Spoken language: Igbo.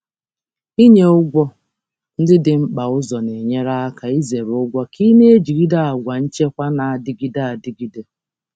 Ịkwanye ụgwọ ndị dị mkpa n'ụzọ mbụ na-enyere aka izere ụgwọ ma na-aga n'ihu na nchekwa mgbe niile.